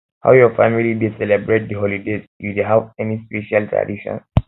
how your family dey celebrate di holidays you dey have any special traditions